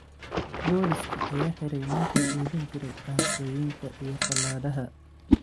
Booliska ayaa xiray ninkii iibin jiray qaansooyinka iyo fallaadhaha.